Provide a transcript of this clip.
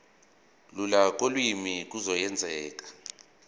lula kolimi kuzokwenzeka